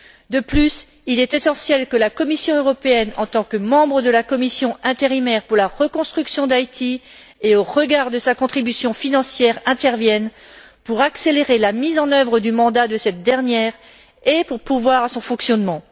De plus, il est essentiel que la Commission européenne, en tant que membre de la commission intérimaire pour la reconstruction d'Haïti, et au regard de sa contribution financière, intervienne pour accélérer la mise en œuvre du mandat de cette dernière et pour pourvoir à son fonctionnement.